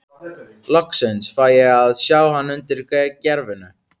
Loksins fæ ég að sjá hann undir gervinu.